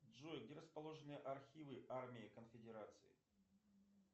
джой где расположены архивы армии конфедерации